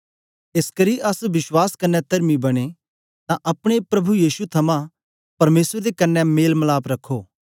एसकरी अस विश्वास क्न्ने तरमी बनें तां अपने प्रभु यीशु थमां परमेसर दे कन्ने मेल मलाप रखो